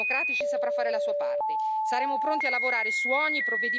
Ecco Presidente, il gruppo dei Socialisti e Democratici saprà fare la sua parte.